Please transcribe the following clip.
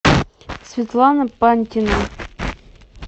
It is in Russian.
светлана пантина